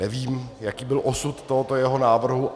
Nevím, jaký byl osud tohoto jeho návrhu.